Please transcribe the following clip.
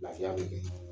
Lafiya bɛ kɛ